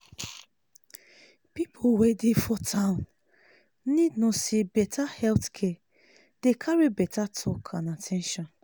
people wey dey for town need know say better health care dey carry better talk and at ten tion.